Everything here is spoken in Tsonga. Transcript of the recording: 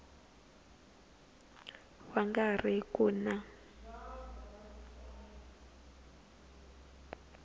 va nga ri ku na